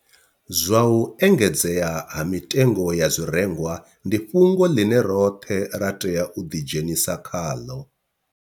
Zwa u engedzea ha mitengo ya zwirengwa ndi fhungo ḽine roṱhe ra tea u ḓidzhenisa khaḽo